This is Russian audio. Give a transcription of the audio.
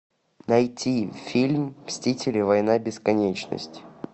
найти фильм мстители война бесконечности